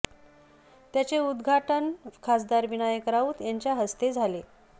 त्याचे उदघाटन खासदार विनायक राऊत यांच्या हस्ते झाले